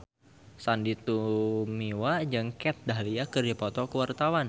Sandy Tumiwa jeung Kat Dahlia keur dipoto ku wartawan